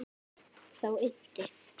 Þá innti